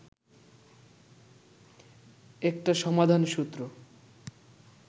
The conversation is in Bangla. একটা সমাধানসূত্র